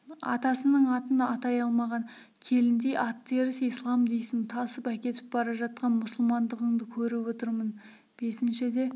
атасының атын атай алмаған келіндей аттеріс ислам дейсің тасып әкетіп бара жатқан мұсылмандығыңды көріп отырмын бесіншіде